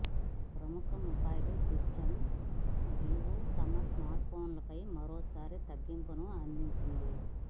ప్రముఖ మొబైల్ దిగ్గజం వివో తమ స్మార్ట్ఫోన్ల పై మరోసారి తగ్గింపును అందించింది